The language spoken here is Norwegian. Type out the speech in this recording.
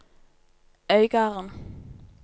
Øygarden